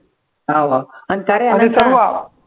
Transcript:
हा बा आणि का रे